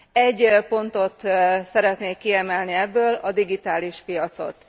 Egy pontot szeretnék kiemelni ebből a digitális piacot.